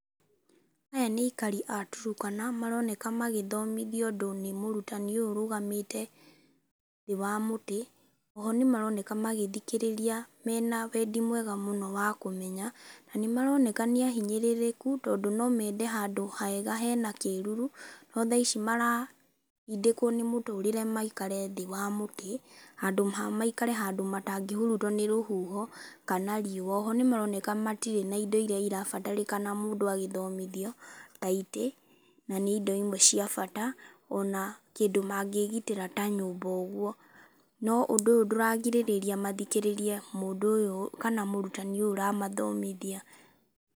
Aya nĩ aikari a Turkana maroneka magĩthomithio ũndũ nĩ mũrutani ũyũ ũrũgamĩte thĩ wa mũtĩ. Oho nĩmaroneka magĩthikĩrĩria mena wendi mwega mũno wa kũmenya. Na nĩmaroneka nĩahinyĩrĩrĩku tondũ nomende handũ hega hena kĩruru no thaici maratindĩkwo nĩ mũtũrĩre maikare thĩ wa mĩtĩ handũ ha maikare handũ matangĩhurutwo nĩ rũhuho kana riũa. Oho nĩmaroneka matirĩ na indo iria irabatarĩkana mũndũ agĩthomithio ta itĩ na indo imwe cia bata ona kĩndũ mangĩgitĩra ta nyũmba ũguo. No ũndũ ũyũ ndũragirĩrĩa mathikĩrĩrie mũndũ ũyũ kana mũrutani ũramathomithia.